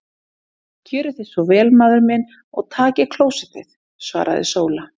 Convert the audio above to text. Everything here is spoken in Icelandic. Gjörið þér svo vel maður minn og takið klósettið, svaraði Sóla.